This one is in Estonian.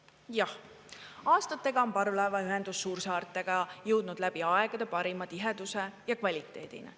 Jah, aastatega on parvlaevaühendus suursaartega jõudnud läbi aegade parima tiheduse ja kvaliteedini.